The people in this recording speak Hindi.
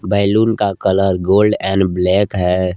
बैलून का कलर गोल्ड एंड ब्लैक है।